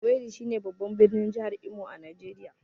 Owerri shine babban birnin jihar Imo a Najeriya.